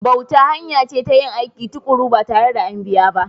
Bauta hanya ce ta yin aiki tuƙuru ba tare da an biya ba.